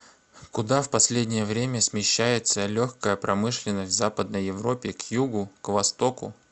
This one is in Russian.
куда в последнее время смещается легкая промышленность в западной европе к югу к востоку